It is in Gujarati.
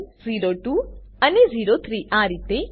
ઓ1 ઓ2 અને ઓ3 આ રીતે